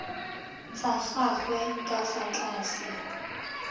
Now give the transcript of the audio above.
tsa gagwe ka fa tlase